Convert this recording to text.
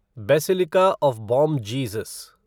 basilica of Bom Jesus